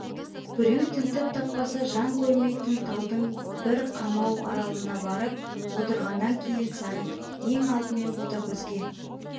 біреу тінтіп таппаса жан көрмейтін талдың бір қамау аралына барып отырғаннан кейін сағит ең алдымен ботагөзге